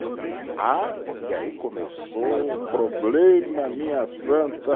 Ah, porque aí começou um problema, minha santa.